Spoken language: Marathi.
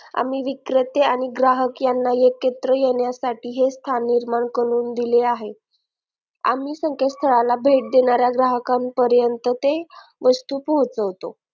आम्ही विक्रेते आणि ग्राहक यांना एकत्र येण्यासाठी हे स्थान निर्माण करून दिले आहे आम्ही संकेतस्थळाला भेट देणाऱ्या ग्राहकापर्यंत ते वस्तू पोहोचवतो